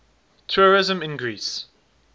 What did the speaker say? tourism in greece